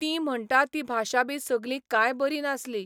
तीं म्हणता ती भाशा बी सगली कांय बरी नासली.